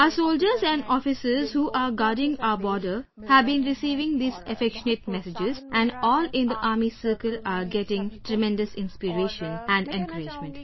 Our Soldiers and Officers who are guarding our border have been receiving these affectionate messages and all in the Army circle are getting tremendous inspiration and encouragement